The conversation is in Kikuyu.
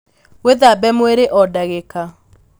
Wīthambe mwīrī o ndagīka